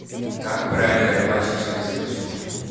как правильно рыбачить через удочку